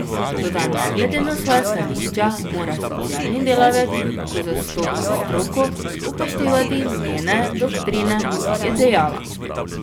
Toda ne glede na svoja stališča mora socialni delavec, ko zastopa stroko, upoštevati njene doktrine, je dejala.